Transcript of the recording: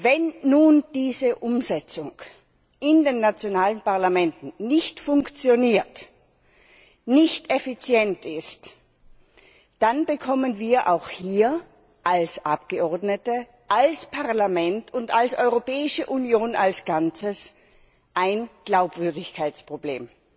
Wenn nun diese Umsetzung in den nationalen Parlamenten nicht funktioniert, nicht effizient ist, dann bekommen wir auch hier als Abgeordnete, als Parlament und als Europäische Union als Ganzes ein Glaubwürdigkeitsproblem.